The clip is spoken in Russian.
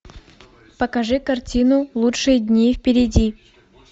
покажи картину лучшие дни впереди